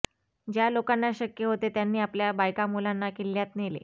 ज्या लोकांना शक्य होते त्यांनी आपल्या बायकांमुलांना किल्ल्यात नेले